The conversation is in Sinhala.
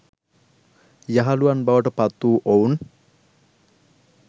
යහළුවන් බවට පත් වූ ඔවුන්